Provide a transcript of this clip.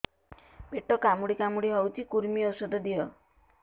ପେଟ କାମୁଡି କାମୁଡି ହଉଚି କୂର୍ମୀ ଔଷଧ ଦିଅ